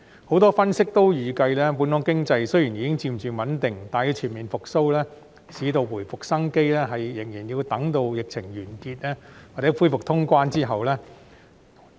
很多分析均預計，本港經濟雖然已經漸漸穩定，但要全面復蘇，市道回復生機，仍然要待疫情完結或恢復通關後。